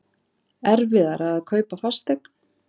Erfiðara að kaupa fasteign